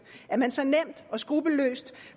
at man så nemt og skruppelløst